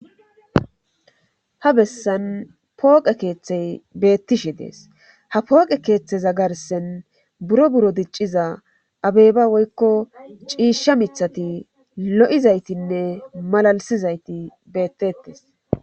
ha bessan pooqe keeththey beettishe dees ha pooqe keeththeza garsen buro buro dicciza abeyba woykko ciishsha mithati lo7izaytinne malalisizayti beettettes